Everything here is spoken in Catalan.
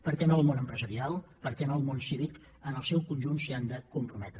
per què no el món empresarial per què no el món cívic en el seu conjunt s’hi han de comprometre